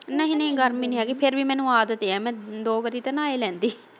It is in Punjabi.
ਨਹੀਂ ਨਹੀਂ ਗਰਮੀ ਨੀ ਹੈਗੀ ਮੈਨੂੰ ਆਦਤ ਐ ਮੈ ਦੋ ਵਾਰੀ ਤੇ ਨਹਾ ਹੀ ਲੈਂਦੀ।